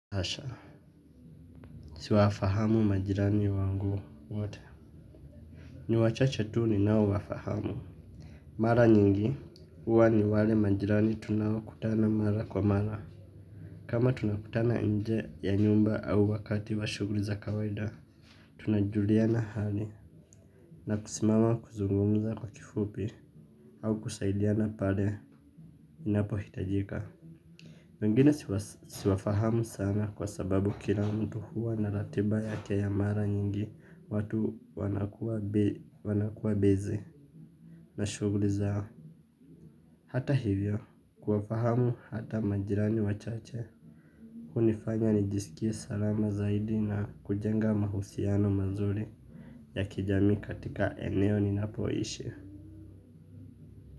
Asha, siwafahamu majirani wangu wote. Ni wachache tu ni nao wafahamu. Mara nyingi, huwa ni wale majirani tunaokutana mara kwa mara. Kama tunakutana nje ya nyumba au wakati wa shughli za kawida, tunajuliana hali. Na kusimama kuzungumuza kwa kifupi, au kusaidiana pale inapo hitajika. Wengine siwafahamu sana kwa sababu kila mtu huwa na ratiba yake ya mara nyingi watu wanakua beze na shuguli zao. Hata hivyo, kuwafahamu hata majirani wachache. Hunifanya nijisikie salama zaidi na kujenga mahusiano mazuri ya kijamii katika eneo ninapoishi.